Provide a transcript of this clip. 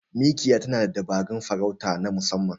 Mikiya na da dabarun farauta na musamman.